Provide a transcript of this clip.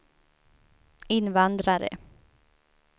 invandrare